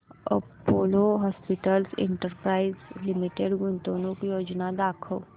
Apollo hospitals enterprise limited गुंतवणूक योजना दाखव